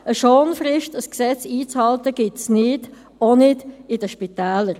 Eine Schonfrist, ein Gesetz einzuhalten, gibt es nicht, auch nicht in den Spitälern.